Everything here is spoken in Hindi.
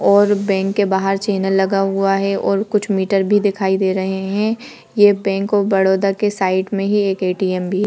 और बैंक के बाहर चैनल लगा हुआ है और कुछ मीटर भी दिखाई दे रहे हैं। ये बैंक ऑफ बड़ोदा के साइड में ही एक एटीएम भी --